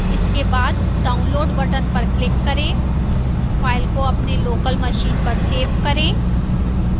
इसके बाद download button पर click करें फ़ाइल को अपने लोकल मशीन पर सेव करें